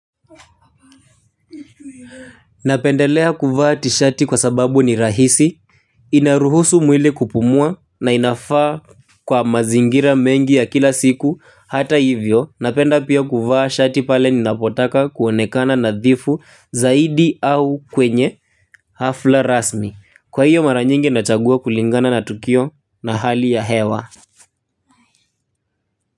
Napendelea kuvaa tishati kwa sababu ni rahisi. Inaruhusu mwili kupumua na inafaa kwa mazingira mengi ya kila siku hata hivyo. Napenda pia kuvaa shati pale ninapotaka kuonekana nadhifu zaidi au kwenye hafla rasmi. Kwa hiyo mara nyingi nachagua kulingana na tukio na hali ya hewa.